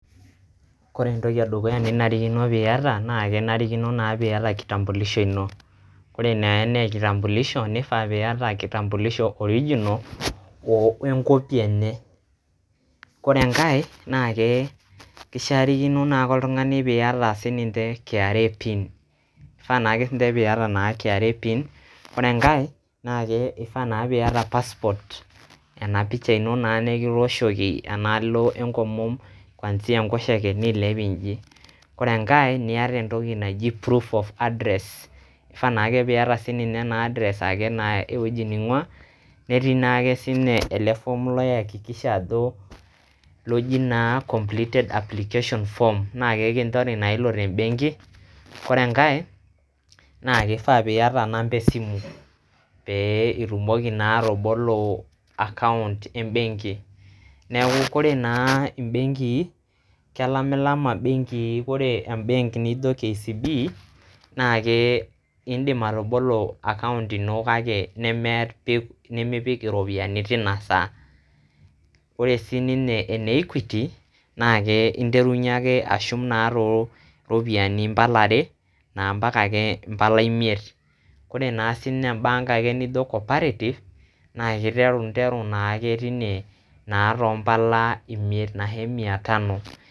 Kore entoki e dukuya ninarikino piyata naa enarikino naa piiyata kitambulisho ino. Kore naa enee kitambulisho, nifaa piyata kitambulisho original we ncopy enye. Kore enkae naake kishakinore naake oltung'ani piyata sininje KRA pin, ifaa naake sinje piyata kra pin, ore enkae naake ifaa naa piayata passport ena picha ino naa nekitooshoki enaalo enkomom, kuanzia enkosheke nilep inji. Kore enkae niata entoki naji prove of address, ifaa naake piata sininye address ake ewueji ning'ua. Netii naake siinye ele form laiakikisha ajo loji naa completed application form naake kinjori naa ilo te mbenki. Ore enkae naake ifaa piyata namba e simu pee itumoki naa atabalo akaunt e mbenki. Neeku kore naa mbenkii, kelamilama imbenkii ore embenk nijo KCB naake indim atobolo akaunt ino kake nemipik iropiani tinasaa. Kore sininye ene Equity, naake interunye ake ashum naa too ropiani mbala are mpaka naa mbala imiet. Kore naa sinye bank ake nijo Cooperative, naake interu naake tine naa to mbala imiet anashe mia tano.